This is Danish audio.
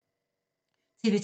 TV 2